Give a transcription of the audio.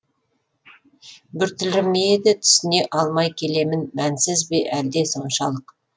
біртүрлі ме еді түсіне алмай келемін мәнсіз бе әлде соншалық